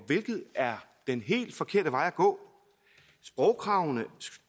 hvilket er den helt forkerte vej at gå sprogkravene